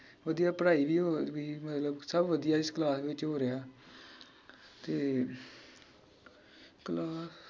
ਵਧੀਆ ਪੜ੍ਹਾਈ ਵੀ ਹੋ ਰਹੀ ਮਤਲਬ ਸਬ ਵਧੀਆ ਇਸ ਕਲਾਸ ਵਿਚ ਹੋਰਿਹਾ ਤੇ ਕਲਾ